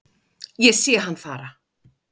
Ég sé hann fara